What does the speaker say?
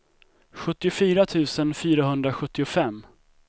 sjuttiofyra tusen fyrahundrasjuttiofem